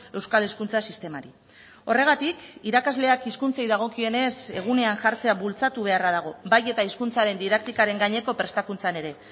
euskal hezkuntza sistemari horregatik irakasleak hizkuntzei dagokienez egunean jartzea bultzatu beharra dago bai eta hizkuntzaren didaktikaren gaineko prestakuntzan ere